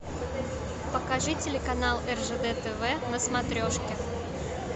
покажи телеканал ржд тв на смотрешке